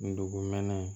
Ndogɛnɛ